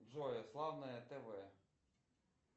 джой славное тв